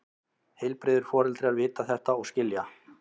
Heilbrigðir foreldrar vita þetta og skilja.